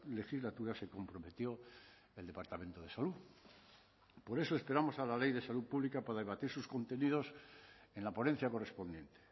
legislatura se comprometió el departamento de salud por eso esperamos a la ley de salud pública para debatir sus contenidos en la ponencia correspondiente